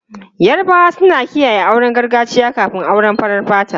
Yarabawa suna kiyaye auren gargajiya kafin auren farar fata.